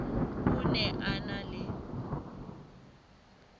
o ne a na le